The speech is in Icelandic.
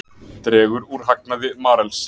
Dregur úr hagnaði Marels